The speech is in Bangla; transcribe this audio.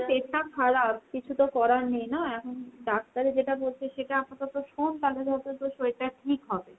পেট টা খারাপ। কিছু তো করার নেই না এখন ডাক্তারে যেটা বলছে সেটা আপাতত শোন তালে তোর শরীরটা ঠিক হবে।